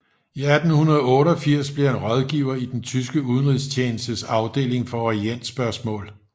I 1888 blev han rådgiver i den tyske udenrigstjenestes afdeling for orientspørgsmål